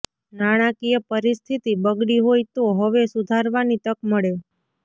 નાણાકીય પરિસ્થિતિ બગડી હોય તો હવે સુધારવાની તક મળે